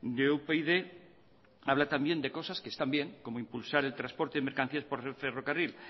de upyd habla también de cosas que están bien como impulsar el transporte de mercancías por ferrocarril